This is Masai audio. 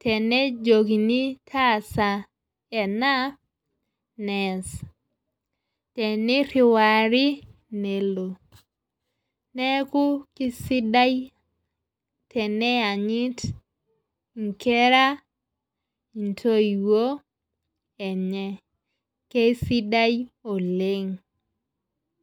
tenejokini taasa ena nees. teniriwari nelo. neeku kisidai teneyanyit nkera intoiwuo enye. Keisidai oleng.